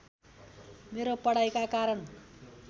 मेरो पढाइका कारण